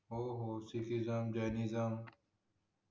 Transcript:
हो हो सिटीजम जेनिज्म